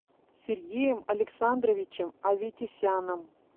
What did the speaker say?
сергеем александровичем аветисяном